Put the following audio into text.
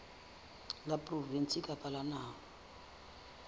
la provinse kapa la naha